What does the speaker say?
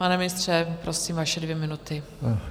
Pane ministře, prosím, vaše dvě minuty.